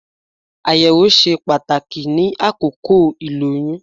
Àyẹ̀wò ṣe pàtàkì ní àkókò ìlóyún